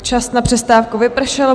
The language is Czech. Čas na přestávku vypršel.